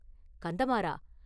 கந்தமாறா!